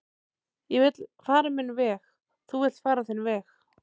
ég vill fara minn veg þú villt fara þinn veg